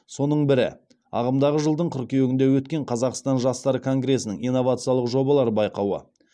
соның бірі ағымдағы жылдың қыркүйегінде өткен қазақстан жастары конгресінің инновациялық жобалар байқауы